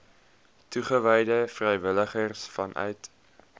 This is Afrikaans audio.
toegewyde vrywilligers vanuit